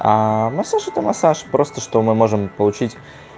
массаж это массаж просто что мы можем получить